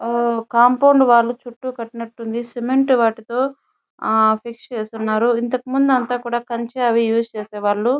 Compound wall చుట్టూ కట్టినట్టు ఉంది సిమెంట్ తో ఫిష్ లవి వేసి ఉన్నారు. ఇంతకుముందు అదే కంచ అవి యూస్ చేసే వాళ్ళు.